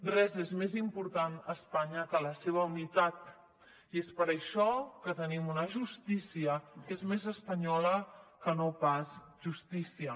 res és més important a espanya que la seva unitat i és per això que tenim una justícia que és més espanyola que no pas justícia